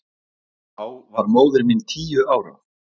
Þá var móðir mín tíu ára.